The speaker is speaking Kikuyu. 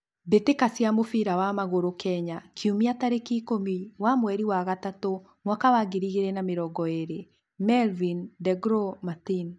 Mbitika cia mũbira wa magũrũ Kenya kiũmia tarĩki ikũmi wa mweri wa gatatũ mwaka wa ngiri igĩrĩ na mĩrongo ĩrĩ: Melvin, De Glow, Martin